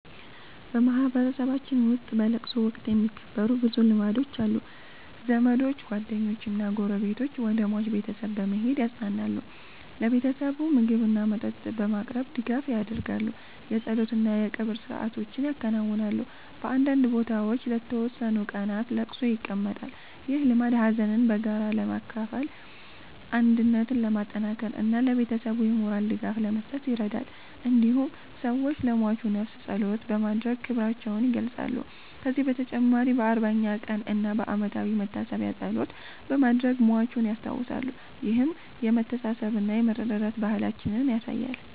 በማህበረሰባችን ውስጥ በለቅሶ ወቅት የሚከበሩ ብዙ ልማዶች አሉ። ዘመዶች፣ ጓደኞችና ጎረቤቶች ወደ ሟች ቤተሰብ በመሄድ ያጽናናሉ። ለቤተሰቡ ምግብና መጠጥ በማቅረብ ድጋፍ ያደርጋሉ። የጸሎት እና የቀብር ሥርዓቶች ይከናወናሉ። በአንዳንድ ቦታዎች ለተወሰኑ ቀናት ለቅሶ ይቀመጣል። ይህ ልማድ ሀዘንን በጋራ ለመካፈል፣ አንድነትን ለማጠናከር እና ለቤተሰቡ የሞራል ድጋፍ ለመስጠት ይረዳል። እንዲሁም ሰዎች ለሟቹ ነፍስ ጸሎት በማድረግ ክብራቸውን ይገልጻሉ። ከዚህ በተጨማሪ በ40ኛ ቀን እና በዓመታዊ መታሰቢያ ጸሎት በማድረግ ሟቹን ያስታውሳሉ። ይህም የመተሳሰብና የመረዳዳት ባህላችንን ያሳያል።